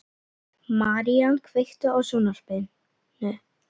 Marían, kveiktu á sjónvarpinu.